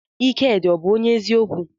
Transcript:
Ikedi ọ bu onye eziokwu?